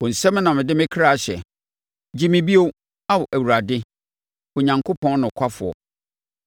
Wo nsam na mede me kra hyɛ; gye me bio, Ao Awurade, Onyankopɔn nokwafoɔ.